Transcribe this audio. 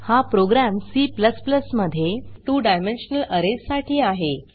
हा program C मध्ये 2 dimensional arrays साठी आहे